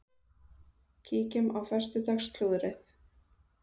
Kíkjum á föstudags slúðrið!